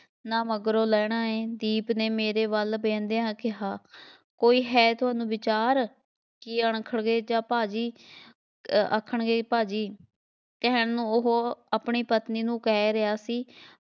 ਨਾ ਮਗਰੋਂ ਲਹਿਣਾ ਐਂ, ਦੀਪ ਨੇ ਮੇਰੇ ਵੱਲ ਵਹਿੰਦਿਆਂ ਕਿਹਾ, ਕੋਈ ਹੈ ਤੁਹਾਨੂੰ ਵਿਚਾਰ, ਕੀ ਅਣਖਣਗੇ ਜਾ ਭਾਅ ਜੀ ਅਹ ਆਖਣਗੇ ਭਾਅ ਜੀ ਕਹਿਣ ਨੂੰ ਉਹ ਆਪਣੀ ਪਤਨੀ ਨੁੰ ਕਹਿ ਰਿਹਾ ਸੀ,